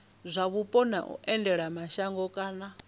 zwa mupo na vhuendelamashango kana